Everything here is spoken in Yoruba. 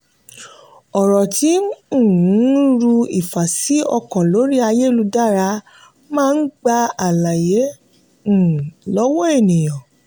ọ̀rọ̀ tí um ń ru ìfàsí-ọkàn lórí ayélujára máa ń gba àlàyé um lọ́wọ́ ènìyàn.